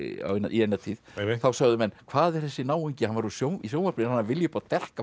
í eina tíð þá sögðu menn hvað er þessi náungi hann var í sjónvarpinu að vilja upp á dekk